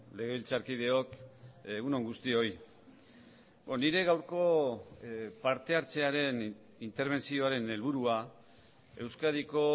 legebiltzarkideok egun on guztioi nire gaurko parte hartzearen interbentzioaren helburua euskadiko